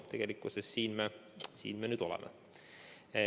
Tegelikkuses siin me nüüd oleme.